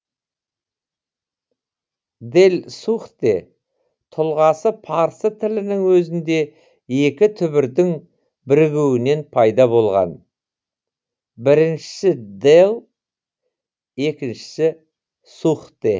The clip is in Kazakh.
дэлсухтэ тұлғасы парсы тілінің өзінде екі түбірдің бірігуінен пайда болған біріншісі дэл екіншісі сухтэ